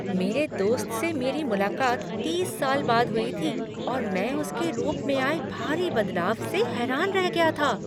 मेरे दोस्त से मेरी मुलाक़ात तीस साल बाद हुई थी और मैं उसके रूप में आए भारी बदलाव से हैरान रह गया था।